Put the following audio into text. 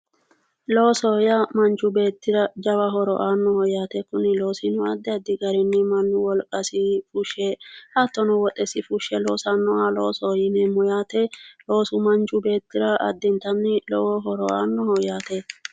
loosoho yaa manchu beettira jawa horo aannoho yaate kuni loosino addi addi garinni mannu wolqa fushshe hattono woxesi fushshe loosannoha loosoho yineemmo yaate loosoho yaa manchi beettira lowo horo aannoho yaate .